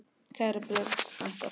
Kæra Björg frænka.